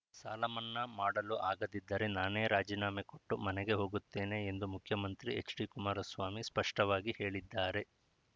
ಸಾಲಮನ್ನಾ ಮಾಡಲು ಆಗದಿದ್ದರೆ ನಾನೇ ರಾಜೀನಾಮೆ ಕೊಟ್ಟು ಮನೆಗೆ ಹೋಗುತ್ತೇನೆ ಎಂದು ಮುಖ್ಯಮಂತ್ರಿ ಎಚ್‌ಡಿ ಕುಮಾರಸ್ವಾಮಿ ಸ್ಪಷ್ಟವಾಗಿ ಹೇಳಿದ್ದಾರೆ